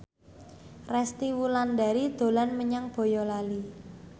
Resty Wulandari dolan menyang Boyolali